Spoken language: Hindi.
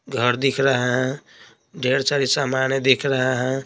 घर दिख रहा है ढेर सारी सामान दिख रहा है।